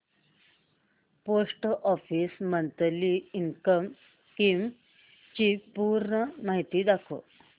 post office monthly income scheme ची पूर्ण माहिती दाखव